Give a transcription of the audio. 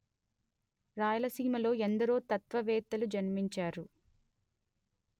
రాయలసీమలో ఎందరో తత్వవేత్తలు జన్మించారు